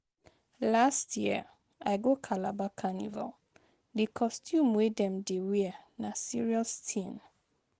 Last year, I go Calabar Carnival, di costume wey dem dey wear na serious tin.